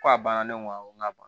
Ko a banna ne ko ŋo a ma